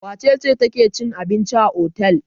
Wace ce take cin abinci a otel?